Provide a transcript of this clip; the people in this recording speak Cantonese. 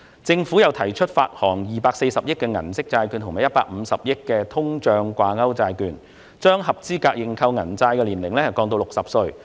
政府又提出發行240億元的銀色債券和150億元的通脹掛鈎債券，並將合資格認購銀色債券的年齡降至60歲。